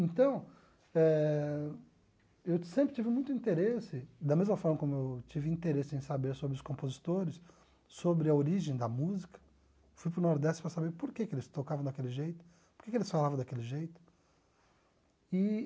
Então eh, eu sempre tive muito interesse, da mesma forma como eu tive interesse em saber sobre os compositores, sobre a origem da música, fui para o Nordeste para saber por que que eles tocavam daquele jeito, por que que eles falavam daquele jeito e